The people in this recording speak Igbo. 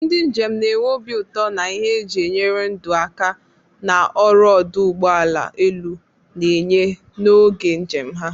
Ndị njem na-enwe obi ụtọ na ihe eji enyere ndụ aka na ọrụ ọdụ ụgbọ elu na-enye n'oge njem ha.